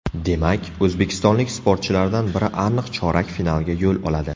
Demak, o‘zbekistonlik sportchilardan biri aniq chorak finalga yo‘l oladi.